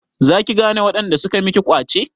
Za ki gane waɗanda suka miki ƙwace?